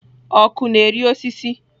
Ọkụ na-eri osisi.